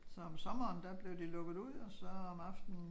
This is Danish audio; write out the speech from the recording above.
Så om sommeren der blev de lukket ud og så om aftenen